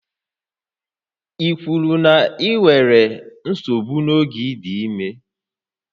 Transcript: Ị kwuru na ị nwere nsogbu n'oge ị dị ime?